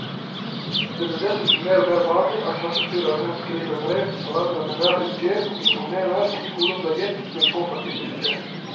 Det blir dessuten mer og mer vanlig at klassestyreren skriver brev til foreldrene hver uke og informerer om skoleopplegget den påfølgende uke.